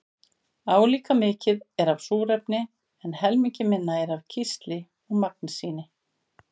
Álíka mikið er af súrefni en helmingi minna er af kísli og magnesíni.